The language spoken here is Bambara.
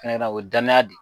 Hɛra o dayana de